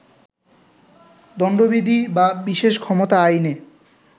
দণ্ডবিধি বা বিশেষ ক্ষমতা আইনে